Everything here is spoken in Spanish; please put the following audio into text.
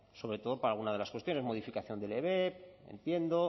sobre todo para alguna de las cuestiones modificación del ebep entiendo